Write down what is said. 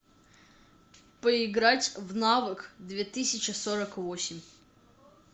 поиграть в навык две тысячи сорок восемь